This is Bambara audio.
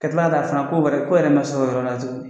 Ka kila ka fana ko wɛrɛ ko yɛrɛ ma s'o yɔrɔ la